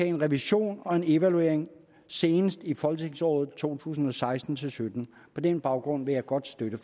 en revision og en evaluering senest i folketingsåret to tusind og seksten til sytten på den baggrund vil jeg godt støtte